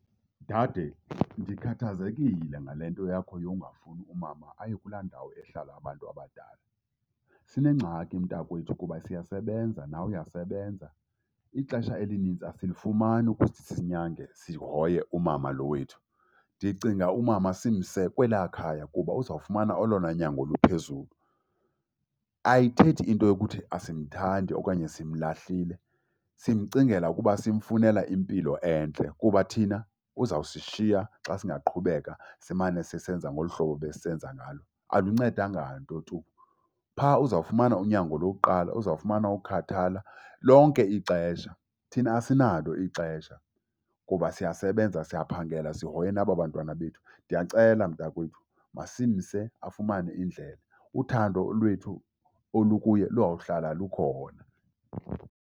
Dade, ndikhathazekile ngale nto yakho yongafuni umama aye kulaa ndawo ehlala abantu abadala. Sinengxaki mntakwethu kuba siyasebenza, nawe uyasebenza. Ixesha elinintsi asilifumani ukuthi sinyange sihoye umama lo wethu. Ndicinga umama simse kwelaa khaya kuba uzawufumana olona nyango oluphezulu. Ayithethi into yokuthi asimthandi okanye simlahlile, simcingela kuba simfunela impilo entle kuba thina uzawusishiya xa singaqhubeka simane sisenza ngolu hlobo besisesenza ngalo. Aluncedanga nto tu. Phaa uzawufumana unyango lokuqala, uzawufumana ukukhathala lonke ixesha. Thina asinalo ixesha kuba siyasebenza, siyaphangela, sihoye naba bantwana bethu. Ndiyacela mntakwethu, masimse afumane indlela. Uthando lwethu olukuye luyawuhlala lukhona.